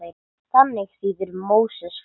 Þannig þýðir Móses fæddur.